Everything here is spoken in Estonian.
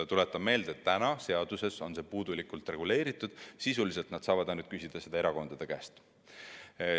Tuletan meelde, et täna on see seaduses puudulikult reguleeritud, sisuliselt saab ERJK küsida neid ainult erakondade käest.